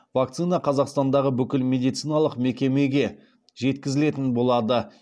вакцина қазақстандағы бүкіл медициналық мекемеге жеткізілетін болады